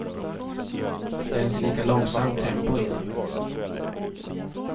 Det är inte lika långsamt tempo i den.